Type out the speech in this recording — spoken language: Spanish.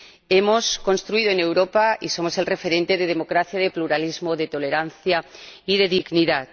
Hemos construido en Europa y somos el referente de democracia, de pluralismo, de tolerancia y de dignidad.